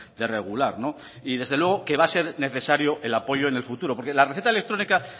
de regular y desde luego que va a ser necesario el apoyo en el futuro porque la receta electrónica